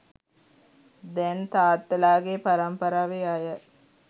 දැන් තාත්තලාගේ පරම්පාරාවේ අය